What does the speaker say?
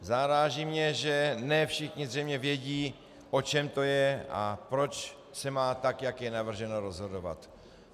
Zaráží mě, že ne všichni zřejmě vědí, o čem to je a proč se má, tak jak je navrženo, rozhodovat.